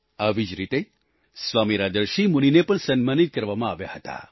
આવી જ રીતે સ્વામી રાજર્ષિ મુનિને પણ સન્માનિત કરવામાં આવ્યા હતા